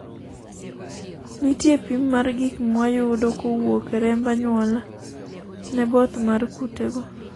nitie pim mar gik mwayudo kowuok e remb anyuola ne both mar kutego